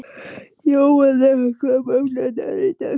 Jóanna, hvaða mánaðardagur er í dag?